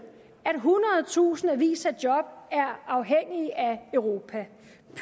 at hundredtusindvis af job er afhængige af europa